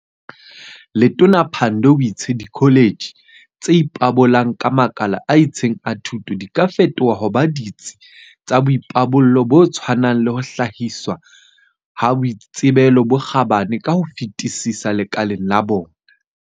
Letona Pandor o itse dikho letjhe tse ipabolang ka makala a itseng a thuto di ka fetoha ho ba ditsi tsa boipabollo bo tshwanang le ho hlahiswa ha boitsebelo bo kgabane ka ho fetisisa lekaleng la bona.